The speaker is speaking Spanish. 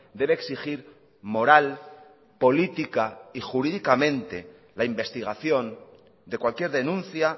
debe exigir moral política y jurídicamente la investigación de cualquier denuncia